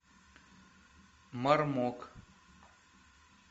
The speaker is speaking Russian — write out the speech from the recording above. мармок